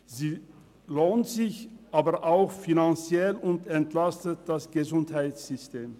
Sie lohnt sich aber auch finanziell und entlastet das Gesundheitssystem.